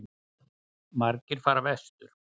Margir fara vestur